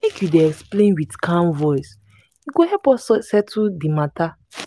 make you dey explain wit calm voice e go help us settle di mata.